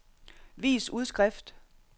vis udskrift